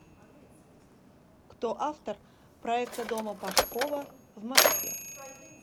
кто автор проекта дома пашкова в москве